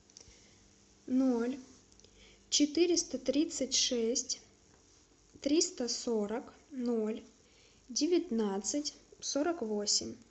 ноль четыреста тридцать шесть триста сорок ноль девятнадцать сорок восемь